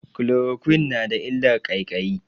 Chloroquine na da illar ƙaiƙayi.